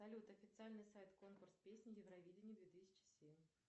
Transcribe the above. салют официальный сайт конкурс песни евровидение две тысячи семь